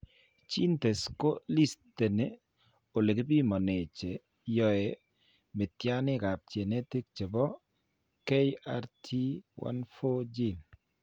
GeneTests ko listeni ole kipimane che yoe mityaaniikap genetic che po KRT14 gene.